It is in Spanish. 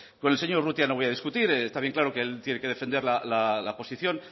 con el señor urrutia no voy a discutir está bien claro que él tiene que defender la posición